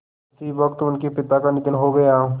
उसी वक़्त उनके पिता का निधन हो गया